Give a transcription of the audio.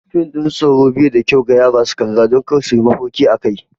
Fim na tsoro bai da kyau ga yara su kalla don kar su yi mafarki akai.